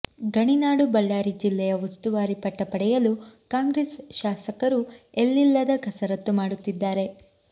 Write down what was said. ಗಣಿನಾಡು ಬಳ್ಳಾರಿ ಜಿಲ್ಲೆಯ ಉಸ್ತುವಾರಿ ಪಟ್ಟ ಪಡೆಯಲು ಕಾಂಗ್ರೆಸ್ ಶಾಸಕರು ಎಲ್ಲಿಲ್ಲಿದ ಕಸರತ್ತು ಮಾಡುತ್ತಿದ್ದಾರೆ